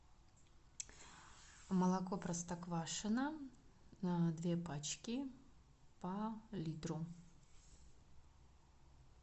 молоко простоквашино две пачки по литру